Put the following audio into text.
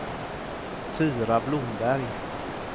Tyra Blomberg